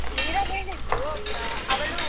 ಮೀರಾ ಹೇಳಿದ್ಲು, ಆ ಅವಳು.